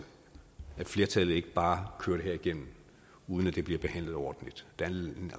at flertallet ikke bare kører det her igennem uden at det bliver behandlet ordentligt der